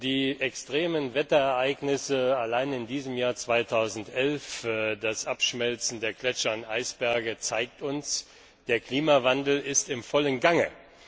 Die extremen Wetterereignisse allein in diesem Jahr 2011, das Abschmelzen der Gletscher und Eisberge zeigen uns Der Klimawandel ist in vollem Gange.